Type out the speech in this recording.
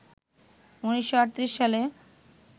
১৯৩৮ সালে